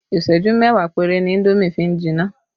Isẹju mẹ́wàá péré ni indomi fi ń jinná